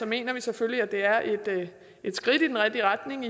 mener vi selvfølgelig at det er et skridt i den rigtige retning